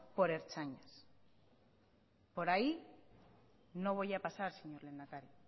por ertzainas por ahí no voy a pasar señor lehendakari